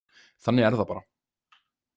Þannig er það bara.